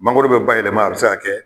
Mangoro bɛ bayɛlɛma a bɛ se ka kɛ.